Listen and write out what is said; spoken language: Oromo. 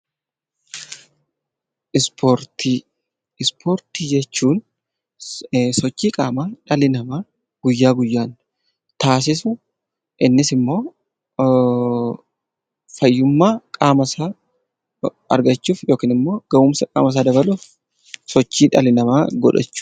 Ispoortii jechuun sochii qaama dhalli namaa guyyaa guyyaan taassisu innis immoo fayyummaa isaa argachuuf yookiin immoo gahumsa qaama isaa dabaluuf kan hojjetudha.